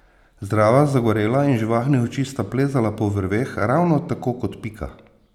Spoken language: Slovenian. Zdrava, zagorela in živahnih oči sta plezala po vrveh ravno tako kot Pika.